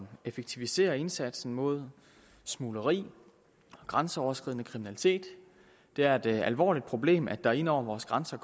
at effektivisere indsatsen mod smugleri og grænseoverskridende kriminalitet det er et alvorligt problem at der ind over vores grænser